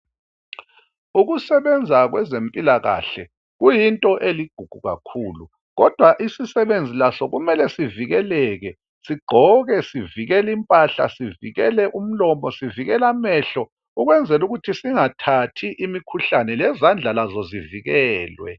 Ukusebenza kwezempilakahle kuyinto eligugu kakhulu kodwa isisebenzi laso kumele sivikeleke, sigqoke sivikele impahla, sivikele umlomo, sivikele amehlo, lezandla lazo zivikelwe.